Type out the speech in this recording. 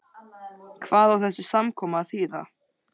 Hvað á þessi samkoma að þýða.